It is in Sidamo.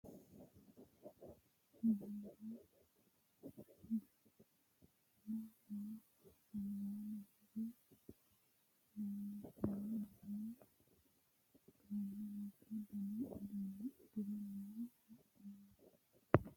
Mannu duuname no albaani higge keeru agarano yaano adawu agarraano mannu mereero kalqantano kipho qoriqortanni nootta leellishshano mannu kayinni mitu dani uduune uddire noo wo'munku.